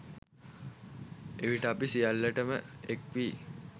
එවිට අප සියල්ලට ම එක් වී